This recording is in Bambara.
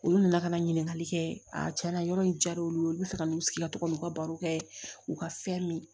Olu nana ka na ɲininkali kɛ a tiɲɛna yɔrɔ in diyar'olu ye olu bɛ fɛ ka n'u sigi ka to ka n'u ka baro kɛ u ka fɛn min ye